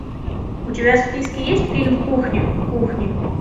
у тебя в списке есть фильм кухня кухня